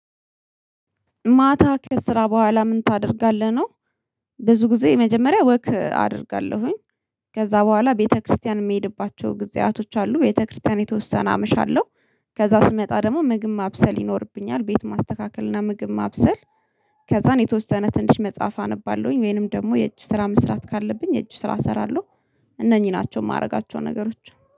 ማታ ከስራ በኋላ ምን ታደርጋለህ ነው? ብዙ ጊዜ የመጀመሪያ ወክ አደርጋለሁኝ። ከዛ በኋላ ቤተክርስቲያን የምሄድባቸው ጊዜያቶች አሉ ቤተክርስቲያን የተወሰነ አመሻለሁ። ከዛ ስመጣ ደግሞ ምግብ ማብሰል ይኖርብኛል ቤት ማስተካከል እና ምግብ ማብሰል። ከዛን የተወሰነ ትንሽ መጽሐፍ አነባለሁኝ ወይንም ደግሞ የእጅ ስራ መስራት ካለብኝ የእጅ ስራ እሰራለሁ። እነኚህ ናቸው የማደርጋቸው ነገሮች